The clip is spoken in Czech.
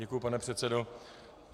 Děkuju, pane předsedo.